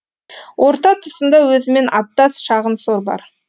орта тұсында өзімен аттас шағын сор бар